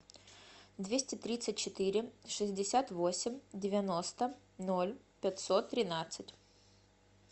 двести тридцать четыре шестьдесят восемь девяносто ноль пятьсот тринадцать